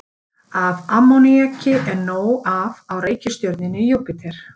Af ammoníaki er nóg af á reikistjörnunni Júpíter.